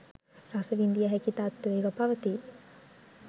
රස විඳිය හැකි තත්ත්වයක පවතී